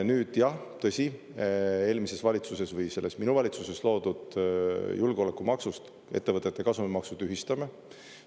Nüüd, jah, tõsi, eelmises valitsuses või selles minu valitsuses loodud julgeolekumaksust ettevõtete kasumimaksu tühistame.